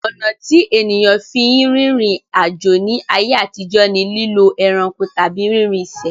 Ọ̀nà tí ènìyàn fi ń rìnrìn àjò ní ayé àtijó ni lílo ẹranko tàbí rínrrinṣẹ̀